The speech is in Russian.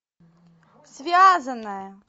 связанная